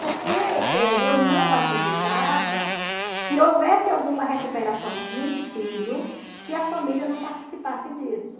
Porque eh eu não acreditava que houvesse alguma recuperação de um filho se a família não participasse disso.